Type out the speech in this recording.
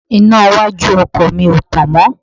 Iná iwájú ọkọ̀ mi ò tàn mọ́